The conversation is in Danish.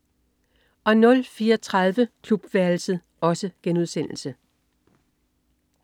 04.30 Klubværelset*